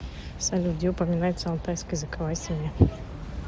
салют где упоминается алтайская языковая семья